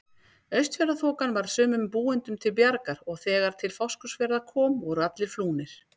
Austfjarðaþokan varð sumum búendum til bjargar og þegar til Fáskrúðsfjarðar kom voru allir flúnir.